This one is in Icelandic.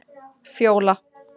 Fjóla